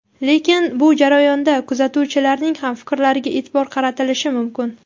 Lekin bu jarayonda kuzatuvchilarning ham fikrlariga e’tibor qaratilishi mumkin.